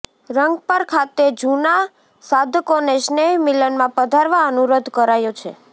રંગપર ખાતે જુના સાધકોને સ્નેહ મિલનમાં પધારવા અનુરોધ કરાયો છે